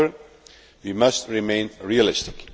However, we must remain realistic.